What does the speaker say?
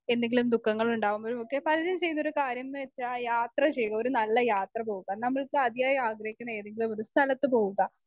speaker 1 എന്തെങ്കിലും ദുഃങ്ങളുണ്ടാകുമ്പഴൊക്കെ പ്ലാറൂം ചെയ്യുന്ന കാര്യംന്ന് വെച്ചാ യാത്ര ചെയ്യുക ഒരു നല്ല യാത്ര പോവുക നമ്മൾക്ക് അതിയായ ആഗ്രഹിക്കുന്ന ഏതെങ്കിലുമൊരു സ്ഥലത്ത് പോവുക